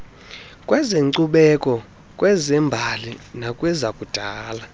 kwezenkcubeko kwezembali nakwezakudala